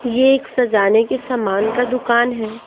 ये एक सजाने के सामान का दुकान है।